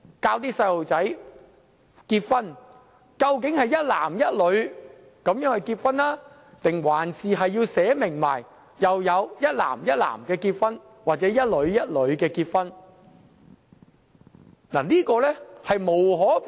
當我們向小朋友講解結婚時，究竟要說是一男一女結合，還是要註明有一男一男或一女一女的結合呢？